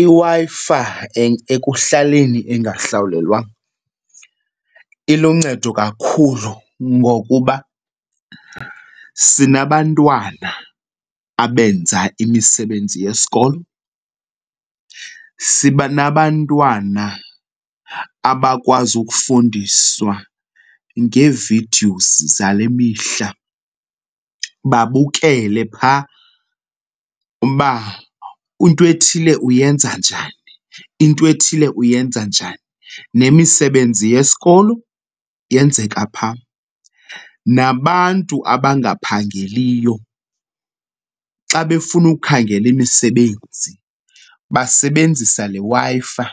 IWi-Fi ekuhlaleni engahlawulelwanga iluncedo kakhulu ngokuba sinabantwana abenza imisebenzi yesikolo. Siba nabantwana abakwazi ukufundiswa ngee-videos zale mihla, babukele phaa uba into ethile uyenza njani, into ethile uyenza njani, nemisebenzi yesikolo yenzeka phaa. Nabantu abangaphangeliyo, xa befuna ukukhangela imisebenzi basebenzisa le Wi-Fi,